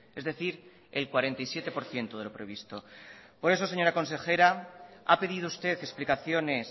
es decir el cuarenta y siete por ciento de lo previsto por eso señora consejera ha pedido usted explicaciones